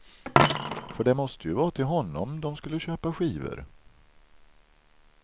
För det måste ju vara till honom de skulle köpa skivor.